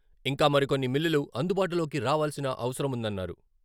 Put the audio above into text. ఇంకా మరికొన్ని మిల్లులు అందుబాటులోకి రావాల్సిన అవసరముందన్నారు.